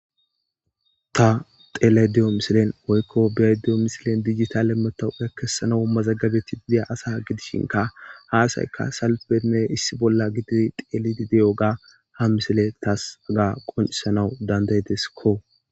Ta xelayda diyo misilean woyko beyayda diyo misilean digital matoqa kesanaw mazagabetidi diya asa gidishinkka ha asayikka salfenne issi bolla gididi Xelidi diyoga ha misile tas hega qonisnaw danda'idekko